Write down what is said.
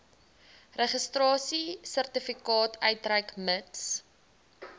registrasiesertifikaat uitreik mits